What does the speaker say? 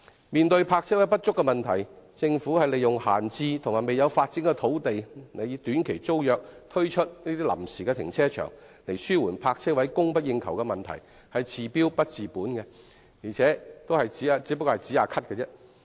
面對泊車位不足的問題，政府利用閒置及未有發展的土地，以短期租約形式推出臨時停車場紓緩泊車位供不應求的問題，是治標不治本的，只可以暫時"止咳"。